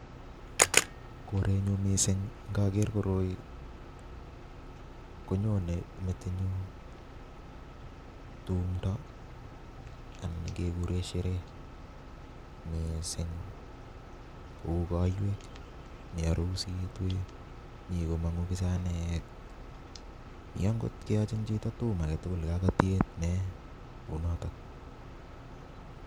Korenyu mising ngager koroi konyone metit nyu tumdo, anan kebure sherehe mising kou koiywek, mi arusiytek, mi komang'u bisanaaek mi angot keychin chito tum age tugul ya katiet nee kou noto.